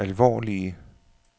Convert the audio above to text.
alvorlige